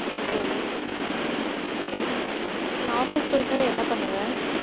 சரி. நீ office போயிட்டு வந்து என்ன பண்ணுவ?